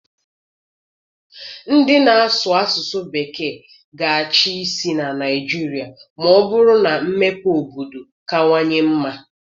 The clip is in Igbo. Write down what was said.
Ndị na-asụ asụsụ Bekee ga-achị isi na Naịjirịa ma ọ bụrụ na mmepe obodo kawanye mma.